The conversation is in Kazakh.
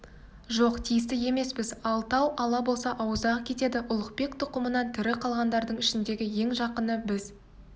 жоқ тиісті емеспіз алтау ала болса ауыздағы кетеді ұлықбек тұқымынан тірі қалғандардың ішіндегі ең жақыны біз